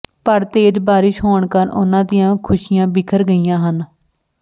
ਪਰ ਤੇਜ਼ ਬਾਰਿਸ਼ ਹੋਣ ਕਾਰਨ ਉਨਾਂ ਦੀਆਂ ਖੁਸ਼ੀਆਂ ਬਿਖਰ ਗਈਆਂ ਹਨ